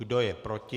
Kdo je proti?